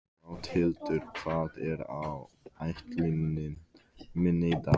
Gauthildur, hvað er á áætluninni minni í dag?